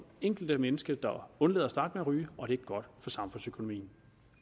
enkelte menneske der undlader at starte med at ryge og det er godt for samfundsøkonomien